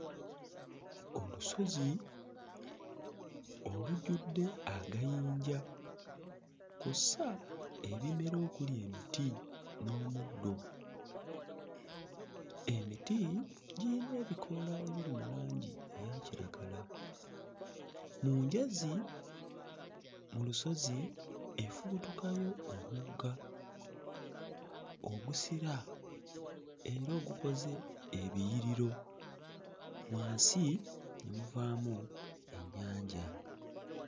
Olusozi olujjudde agayinja kw'ossa ebimera okuli emiti n'omuddo. Emiti giyina ebikoola ebiri mu langi eya kiragala. Mu njazi mu lusozi efubutukayo omugga ogusira era ogukoze ebiyiriro wansi ne muvaamu ennyanja.